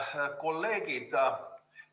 Head kolleegid!